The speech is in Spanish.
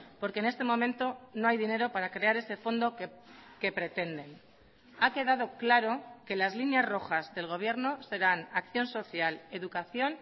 porque en este momento no hay dinero para crear ese fondo que pretenden ha quedado claro que las líneas rojas del gobierno serán acción social educación